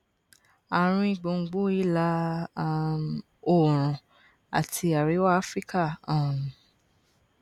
àárín gbùngbùn ìlà um oòrùn àti àríwá áfíríkà um